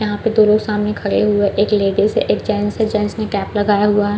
यहाँ पे दो लोग सामने खड़े हुए है एक लेडीज एक जेंट्स है जेंट्स ने कैप लगाया हुआ हैं।